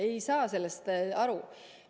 Ma ei saa sellest aru.